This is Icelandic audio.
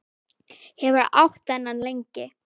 Hefurðu átt þennan lengi?